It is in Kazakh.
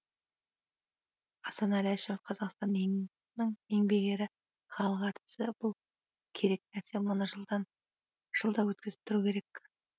асанәлі әшімов қазақстанның еңбек ері халық әртісі бұл керек нәрсе мұны жылда өткізіп тұру керек